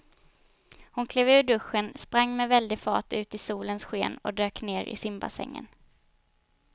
Hon klev ur duschen, sprang med väldig fart ut i solens sken och dök ner i simbassängen.